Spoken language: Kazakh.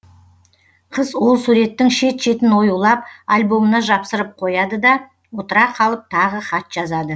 қыз ол суреттің шет шетін оюлап альбомына жапсырып қояды да отыра қалып тағы хат жазады